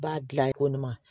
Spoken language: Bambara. B'a dilan ye ko nin ma